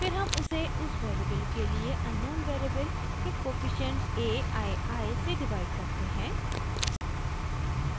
फिर हम इसे उस वेरिएबल के लिए अननोन वेरिएबल के कोफिशिएंट a i i से डिवाइड करते हैं